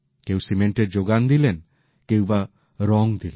কেউ সিমেন্টের যোগান দিলেন কেউ বা রং দিলেন